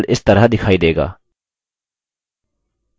इस window को बंद कर दें